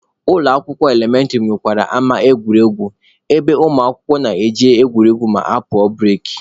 Ụlọ akwụkwọ elementịrị nwekwara ama egwuregwu ebe ụmụakwụkwọ na-eje egwuregwu ma apụọ bureki.